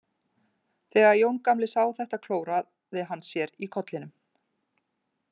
Þegar Jón gamli sá þetta klóraði hann sér í kollinum.